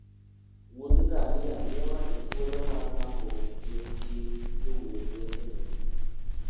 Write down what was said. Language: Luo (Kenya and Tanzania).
Wuoth ngamia miyo ng'ato thuolo mar mako osiep gi jowuoth wetene.